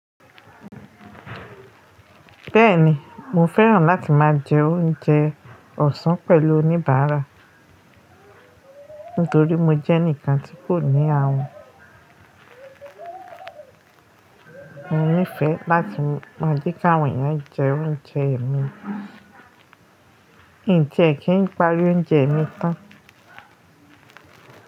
Bẹ́ẹ̀ni, mo fẹ́ràn láti máa jẹ oúnjẹ ọ̀sán pẹ̀lú oníbàárà nítorí mo jẹ́ ẹnìkan tí kò ní ààùn, mo nífẹ̀ẹ́ láti máa jíkà wọ̀nyán jẹ oúnjẹ mi. Mijẹ kí n pari oúnjẹ mi tán.